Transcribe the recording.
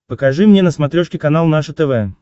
покажи мне на смотрешке канал наше тв